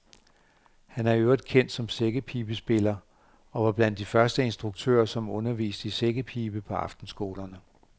Han er i øvrigt kendt som sækkepibespiller og var blandt de første instruktører, som underviste i sækkepibe på aftenskolerne.